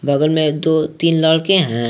बगल में दो तीन लड़के हैं।